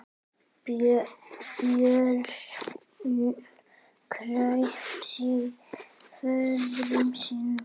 Björn kraup föður sínum.